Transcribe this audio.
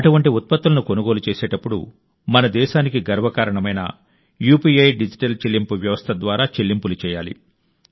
అటువంటి ఉత్పత్తులను కొనుగోలు చేసేటప్పుడు మన దేశానికి గర్వకారణమైన యూపీఐ డిజిటల్ చెల్లింపు వ్యవస్థ ద్వారా చెల్లింపులు చేయాలి